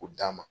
K'o d'a ma